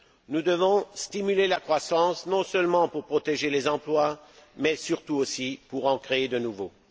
Nous devons stimuler la croissance, non seulement pour protéger les emplois, mais aussi et surtout pour en créer de nouveaux.